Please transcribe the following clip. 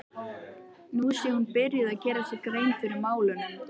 Nú sé hún byrjuð að gera sér grein fyrir málunum.